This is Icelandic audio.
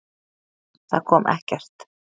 Það kom ekkert.